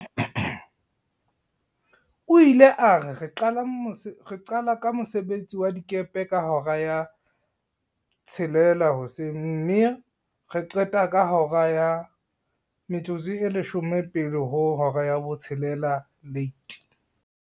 O ile a re, "re qala ka mosebetsi wa dikepe ka hora ya 06:00 mme re qete ka hora ya 17:50."